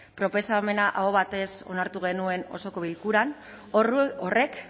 proposamena aho batez onartu genuen osoko bilkuran horrek